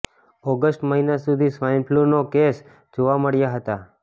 ઓગષ્ટ મહિના સુધી સ્વાઇન ફ્લુના કેસો જોવા મળ્યા હતા